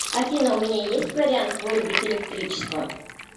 афина у меня есть вариант вырубить электричество